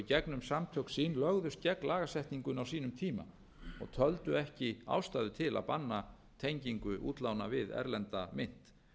gegnum samtök sín lögðust gegn lagasetningunni á sínum tíma og töldu ekki ástæðu til að banna tengingu útlána við erlenda mynt